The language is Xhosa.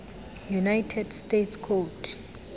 united states code